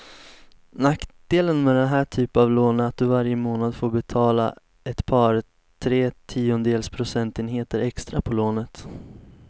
Nackdelen med den här typen av lån är att du varje månad får betala ett par, tre tiondels procentenheter extra på lånet.